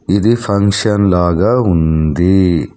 ఇది ఫంక్షన్ లాగా ఉంది.